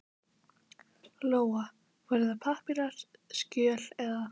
Lóa: Voru það pappírar, skjöl eða?